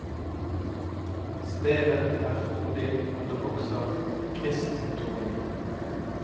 Stedet er frodig, og det vokser kristtorn.